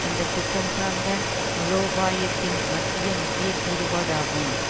இந்த குற்றம் சார்ந்த மூலோபாயத்தின் மத்திய முக்கிய கூறுபாடு ஆகும்